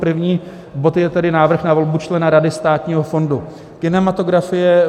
První bod je tedy návrh na volbu člena Rady Státního fondu kinematografie.